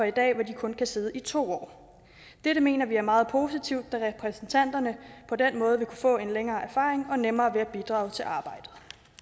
i dag hvor de kun kan sidde i to år dette mener vi er meget positivt da repræsentanterne på den måde vil kunne få en længere erfaring og nemmere ved at bidrage til arbejdet